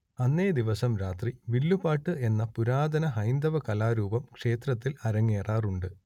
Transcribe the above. അന്നേദിവസം രാത്രി വില്ലുപാട്ട് എന്ന പുരാതന ഹൈന്ദവകലാരൂപം ക്ഷേത്രത്തിൽ അരങ്ങേറാറുണ്ട്